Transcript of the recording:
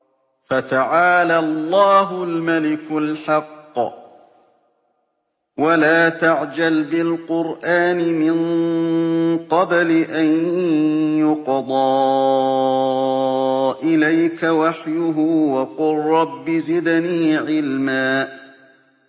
فَتَعَالَى اللَّهُ الْمَلِكُ الْحَقُّ ۗ وَلَا تَعْجَلْ بِالْقُرْآنِ مِن قَبْلِ أَن يُقْضَىٰ إِلَيْكَ وَحْيُهُ ۖ وَقُل رَّبِّ زِدْنِي عِلْمًا